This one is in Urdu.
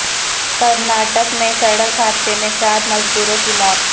کرناٹک میں سڑک حادثہ میں سات مزدوروں کی موت